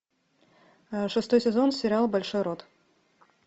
шестой сезон сериал большой рот